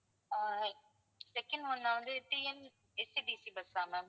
ஆஹ் second one வந்து TNSETC bus ah ma'am